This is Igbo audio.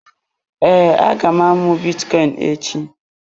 Ee, aga m amụ bitcoin echi.